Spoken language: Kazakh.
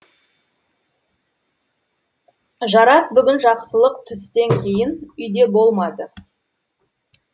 жарас бүгін жақсылық түстен кейін үйде болмады